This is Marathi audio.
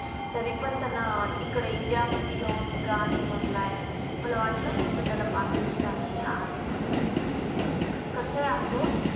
तरी पण त्यांना इकडे india मधी येऊन गाणी म्हणलाय मला वाटल नव्हत त्यानं पाकिस्तानी आहे म्हणून पण कस ही असो